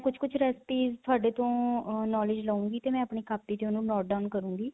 ਕੁੱਝ ਕੁੱਝ recipe ਤੁਹਾਡੇ ਤੋਂ knowledge ਲਉਗੀ ਤੇ ਆਪਣੀ ਕਾਪੀ ਤੇ note down ਕਰੂੰਗੀ